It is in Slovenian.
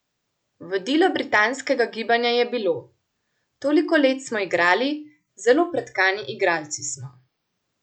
Vodilo britanskega gibanja je bilo: "Toliko let smo igrali, zelo pretkani igralci smo.